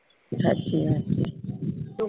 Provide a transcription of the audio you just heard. સાચી વાત છે